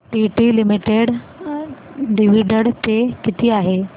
TT limited dividend pay किती आहे